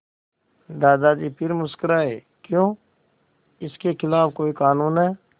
दादाजी फिर मुस्कराए क्यों इसके खिलाफ़ कोई कानून है